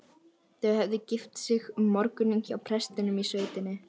Þau höfðu gift sig um morguninn hjá prestinum í sveitinni.